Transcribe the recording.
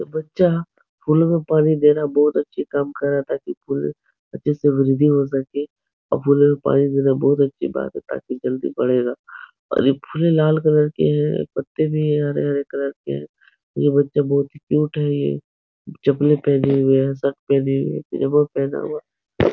ये बच्चा फूलों में पानी दे रहा है बोहत अच्छी काम कर रहा है। ताकी फूल अच्छे से वृद्धि हो सके और फूलो में पानी देना बोहत अच्छी बात है ताकि जल्दी बढ़ेगा और ये फूल लाल कलर की है पत्ते भी है हरे-हरे कलर के। ये बच्चा बहुत ही क्यूट है। ये चप्पलें पहने हुए है शर्ट पहने हुए है ।